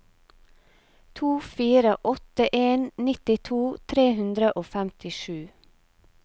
to fire åtte en nittito tre hundre og femtisju